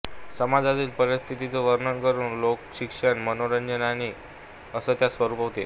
समाजातील परिस्थितीचं वर्णन करून लोकशिक्षण मनोरंजन असं त्याचं स्वरूप होतं